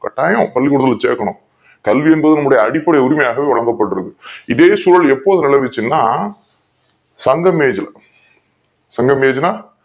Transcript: கட்டாயம் பள்ளி கூடத்துல்ல சேக்கணும் கல்வி என்பது நம்முடைய அடிப்படை உரிமையாக விளங்கபடுறது இதை சூழல் எப்போ விளைவிச்சுதுனா சங்கம் age ல சங்கம் age னா